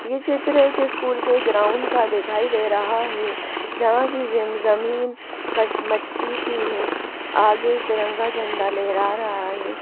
यह चित्र एक स्कूल के ग्राउंड का दिखाई दे रहा है जहां की ज जमीन क मट्टी सी है आगे तिरंगा झंडा लेहरा रहा है।